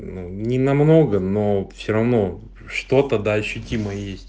ну не на много но все равно что-то дальше тима есть